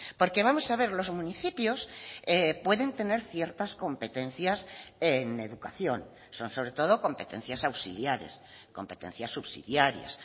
porque vamos a ver los municipios pueden tener ciertas competencias en educación son sobre todo competencias auxiliares competencias subsidiarias